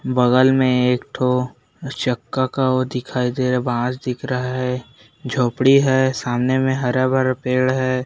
बगल में एक ठो चक्का का वो दिखाई दे रहा है बाँस दिख रहा है झोपड़ी है सामने में हरा-भरा पेड़ है।